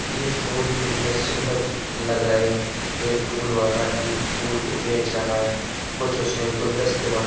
ये फूल कितने सुंदर द लग रहे है। एक फूलवाला एक फूल को बेच रहा है। कुछ उसने गुलदस्ता बना --